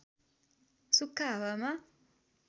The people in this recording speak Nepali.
सुख्खा हावामा